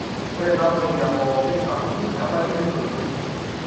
ore iltamueyia pooki sapuki nebaki teina oitoi